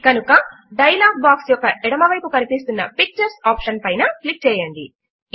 కనుక dialog box యొక్క ఎడమ వైపు కనిపిస్తున్న పిక్చర్స్ ఆప్షన్ పైన క్లిక్ చేయండి